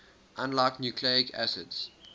unlike nucleic acids